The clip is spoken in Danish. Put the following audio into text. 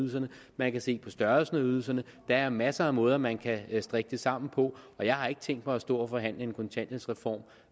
ydelserne man kan se på størrelsen af ydelserne der er masser af måder man kan strikke det sammen på og jeg har ikke tænkt mig at stå og forhandle en kontanthjælpsreform